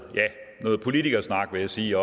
ja politikersnak vil jeg sige